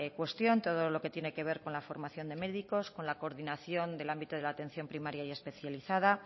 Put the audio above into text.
cuestión de todo lo que tiene que ver con la formación de médicos con la coordinación del ámbito de la atención primaria y especializada